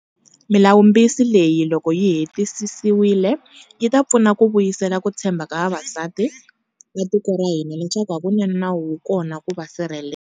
Milawumbisi leyi, loko yi hetisisiwile, yi ta pfuna ku vuyisela ku titshembha ka vaxisati va tiko ra hina leswaku hakunene nawu wu kona ku va sirhelela.